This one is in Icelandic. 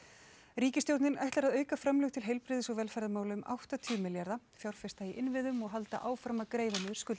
ríkisstjórnin ætlar að auka framlög til heilbrigðis og velferðarmála um áttatíu milljarða fjárfesta í innviðum og halda áfram að greiða niður skuldir